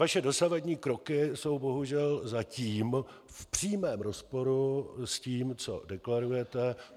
Vaše dosavadní kroky jsou bohužel zatím v přímém rozporu s tím, co deklarujete.